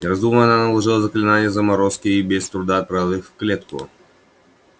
не раздумывая она наложила заклинание заморозки и без труда отправила их в клетку